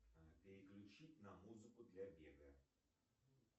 переключить на музыку для бега